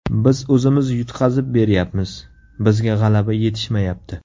Biz o‘zimiz yutqazib beryapmiz, bizga g‘alaba yetishmayapti.